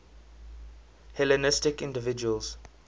hellenistic individuals